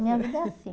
A minha vida é assim.